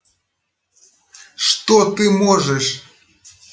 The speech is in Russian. что ты можешь